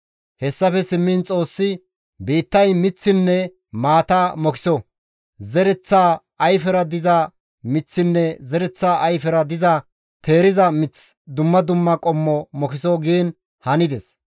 Hessafe simmiin Xoossi, «Biittay miththinne maata mokiso; zereththa ayfera diza miththinne zereththa ayfera diza teeriza mith dumma dumma qommo mokiso» giin hanides.